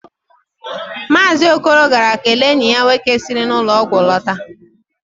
Maazị Okoro gara kelee enyi ya nwoke siri n'ụlọ ọgwụ lọta